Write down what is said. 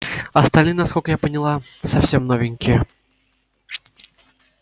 остальные насколько я поняла совсем новенькие